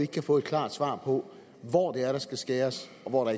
kan få et klart svar på hvor det er der skal skæres